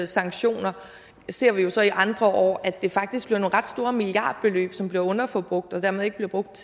sanktioner der ser vi så i andre år at der faktisk er nogle ret store milliardbeløb som bliver underforbrugt og dermed ikke bliver brugt